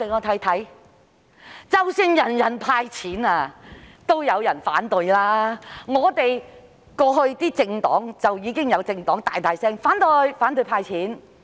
即使是全民"派錢"也有人反對，過去便有政黨大力反對"派錢"。